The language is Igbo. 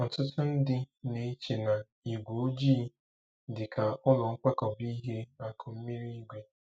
Ọtụtụ ndị na-eche na ígwé ojii dị ka ụlọ nkwakọba ihe akụmmirigwe.